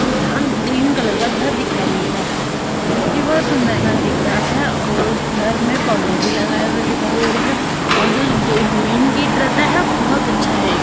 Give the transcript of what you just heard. यहाँ green colour का घर दिखाई दे रहा है जो कि बहोत सुंदर घर दिख रहा है और घर में पौधे भी लगाए हुए दिखाई दे रहे है और जो गेट मेन गेट रहता है बोहोत अच्छा है।